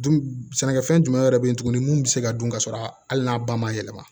Dun sɛnɛkɛfɛn jumɛn wɛrɛ bɛ ye tuguni mun bɛ se ka dun ka sɔrɔ a hali n'a ba ma yɛlɛma